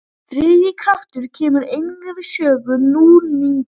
Þriðji kraftur kemur einnig við sögu, núningur.